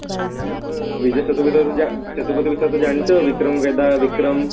ବିଜୟ ସେତୁପତି ସେତୁପାୟ କୁ ତ ଜାଣିଛ ଆଉ ବିକ୍ରମ ରେଡା ବିକ୍ରମ